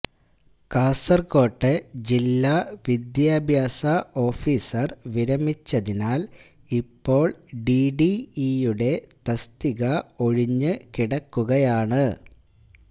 കാസര്കോട്ട ജില്ലാ വിദ്യാഭ്യാസ ഓഫിസര് വിരമിച്ചതിനാല് ഇപ്പോള് ഡിഡിഇ യുടെ തസ്തിക ഒഴിഞ്ഞ് കിടക്കുകയാണ്